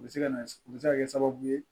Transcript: U bɛ se ka na u bɛ se ka kɛ sababu ye